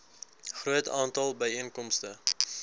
groot aantal byeenkomste